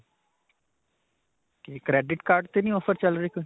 ਕਿ credit card ਤੇ ਨਹੀਂ offer ਚੱਲ ਰਿਹਾ ਕੋਈ?